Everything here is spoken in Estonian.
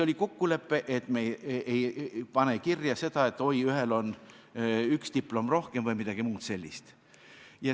Oli kokkulepe, et me ei pane kirja seda, et ühel on üks diplom rohkem või midagi muud sellist.